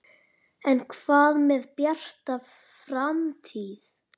En hvað með Bjarta framtíð?